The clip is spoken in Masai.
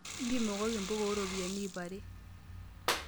Mpimokoki mpuka ooropiyiani iip are.